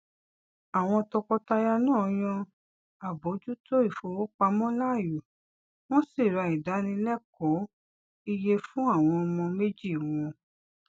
àwọn tọkọtaya náà yàn àbójútó ìfowópamọ láàyò wọn sì ra ìdánilẹkọọ ìyè fún àwọn ọmọ méjì wọn